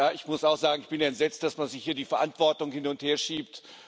Ich muss auch sagen Ich bin entsetzt, dass man sich hier die Verantwortung hin und herschiebt.